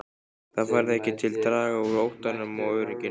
Það varð ekki til að draga úr óttanum og óörygginu.